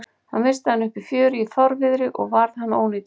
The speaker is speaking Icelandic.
Hann missti hann upp í fjöru í fárviðri og varð hann ónýtur.